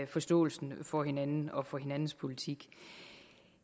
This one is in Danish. forståelsen for hinanden og for hinandens politik